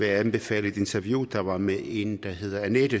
jeg anbefale et interview der var med en der hedder anette